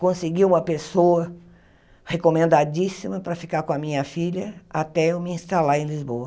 Consegui uma pessoa recomendadíssima para ficar com a minha filha até eu me instalar em Lisboa.